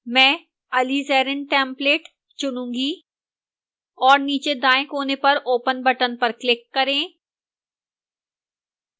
मैं alizarin template चुनूंगी और नीचे दाएं कोने पर open button पर click करें